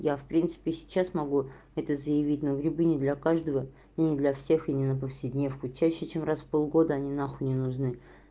я в принципе сейчас могу это заявить но грибы не для каждого не для всех и ни на повседневку чаще чем раз в полгода они нахуй не нужны